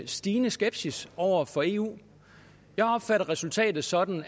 stigende skepsis over for eu jeg opfatter resultatet sådan